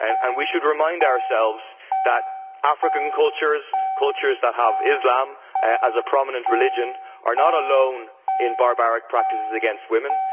We should remind ourselves that African cultures, cultures that have Islam as a prominent religion, are not alone in barbaric practices against women.